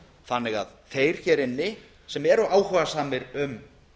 þannig að þeir hér inni sem eru áhugasamir um